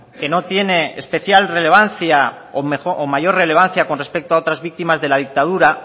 que no tiene especial relevancia o mayor relevancia con respecto a otras víctimas de la dictadura